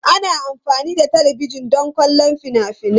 Ana amfani da talabijin don kallon fina-finai.